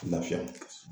Lafiya